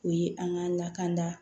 O ye an ka lakanda